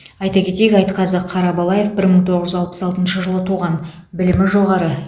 айта кетейік айтқазы қарабалаев бір мың тоғыз жүз алпыс алтыншы жылы туған білімі жоғары